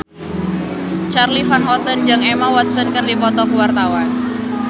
Charly Van Houten jeung Emma Watson keur dipoto ku wartawan